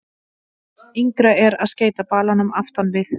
Yngra er að skeyta balanum aftan við.